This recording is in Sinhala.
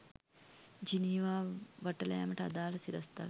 ජිනීවා වටලෑමට අදාළ සිරස්තල